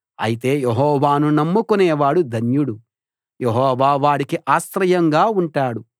అయితే యెహోవాను నమ్ముకునేవాడు ధన్యుడు యెహోవా వాడికి ఆశ్రయంగా ఉంటాడు